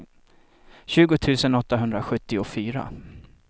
tjugo tusen åttahundrasjuttiofyra